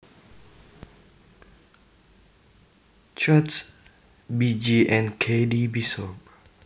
Coates B J and K D Bishop